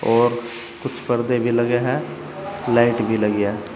और कुछ पर्दे भी लगे हैं। लाइट भी लगी है।